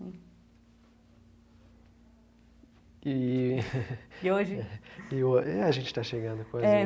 E. E hoje? É, a gente está chegando. É.